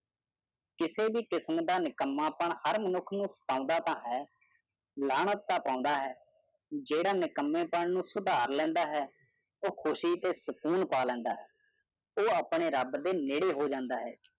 ਕਿਸੇ ਵੀ ਕਿਸਮ ਦਾ ਨਿਕੱਮਾਪਨ ਹਰ ਮਨੁੱਖ ਨੂੰ ਫਸਾਉਂਦਾ ਤਾਂ ਹੈ ਲਾਹਨਤ ਤਾਂ ਪਾਉਂਦਾ ਹੈ ਜੁਿਹੜਾ ਆਪਣੇ ਨਿਕੱਮੇਪਨ ਨੂੰ ਸੁਧਾਰ ਲੈਂਦਾ ਹੈ। ਉਹ ਖੁਸ਼ੀ ਤੇ ਸਕੂਨ ਪਾ ਲੈਂਦਾ ਹੈ ਉਹ ਆਪਣੇ ਰੱਬ ਦੇ ਨੇੜੇ ਹੋ ਜਾਂਦਾ ਹੈ।